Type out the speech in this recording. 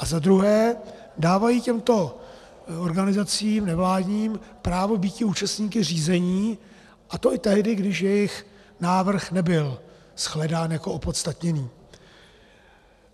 A za druhé dávají těmto organizacím nevládním právo býti účastníky řízení, a to i tehdy, když jejich návrh nebyl shledán jako opodstatněný.